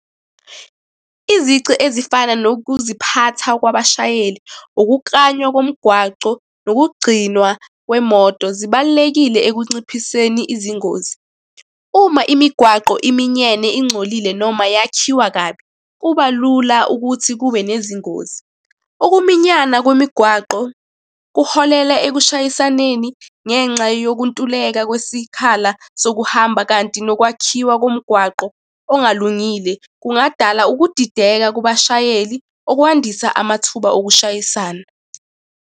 Izici ezifana nokuziphatha kwabashayeli. Ukuklanywa komgwaco nokugcinwa kwemoto zibalulekile ekunciphiseni izingozi. Uma imigwaqo iminyene ingcolile, noma yakhiwa kabi, kuba lula ukuthi kube nezingozi. Ukuminyana kwemigwaqo kuholela ekushayisaneni ngenxa yokuntuleka kwesikhala sokuhamba, kanti nokwakhiwa komgwaqo ongalungile kungadala ukudideka kubashayeli, okwandisa amathuba okushayisana.